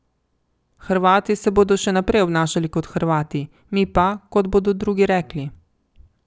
Hrvati se bodo še naprej obnašali kot Hrvati, mi pa, kot bodo drugi rekli.